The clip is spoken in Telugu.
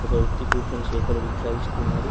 ఒక వ్యక్తి కూర్చొని చేపల విక్రయిస్తున్నాడు.